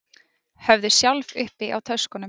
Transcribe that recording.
Höfðu sjálf uppi á töskunum